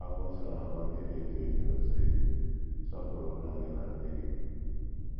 Akwụkwọ Nsọ na - agwa ndị na - eto eto, sị: Sọpụrụ nna gị na nne gị.